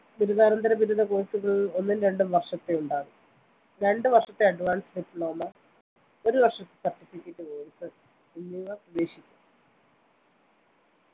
ബിരുദാനന്തര ബിരുദ കോഴ്‌സുകള്‍ ഒന്നും രണ്ടും വര്‍ഷത്തെയുണ്ടാകും രണ്ടു വര്‍ഷത്തെ advanced diploma ഒരു വര്‍ഷത്തെ certificate course എന്നിവ ഇനി പ്രതീക്ഷിക്കാം